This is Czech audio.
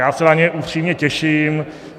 Já se na ně upřímně těším.